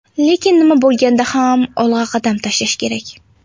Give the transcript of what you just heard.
Lekin nima bo‘lganda ham olg‘a qadam tashlash kerak.